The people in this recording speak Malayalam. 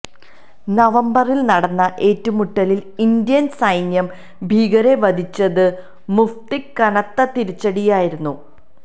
നവംബറിൽ നടന്ന ഏറ്റുമുട്ടലിൽ ഇന്ത്യൻ സൈന്യം ഭീകരരെ വധിച്ചത് മുഫ്തിക്ക് കനത്ത തിരിച്ചടിയായിരുന്നു